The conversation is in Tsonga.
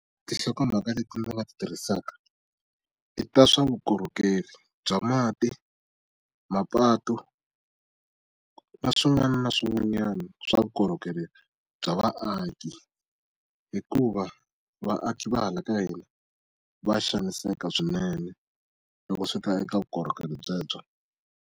Tinhlokomhaka leti ndzi nga ti tirhisaka i ta swa vukorhokeri bya mati, mapatu, na swin'wana na swin'wanyana swa vukorhokeri bya vaaki hikuva vaaki va hala ka hina va xaniseka swinene loko swi ta eka vukorhokeri byebyo.